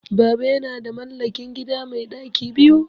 Baba yana da mallakin gida mai ɗaki biyu